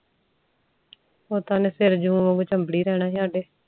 ਉ ਤਾ ਓਹਨੇ ਸਿਰ ਜੂੰ ਵਾਂਗੂ ਚਮਬੜੀ ਰਹਿਣਾ ਸੀ ਸਾਡੇ